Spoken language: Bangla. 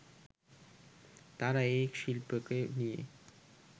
তারা এ শিল্পকে নিয়ে